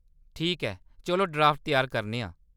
ठीक ऐ, चलो ड्राफ्ट त्यार करने आं।